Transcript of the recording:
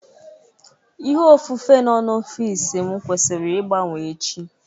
Ihe ofufe nọ n'ọfịs m kwesịrị ịgbanwee echi